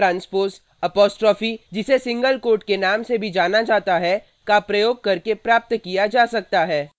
एक वेक्टर का transpose apostrophe जिसे सिंगलकोट के नाम से भी जाना जाता है का प्रयोग करके प्राप्त किया जा सकता है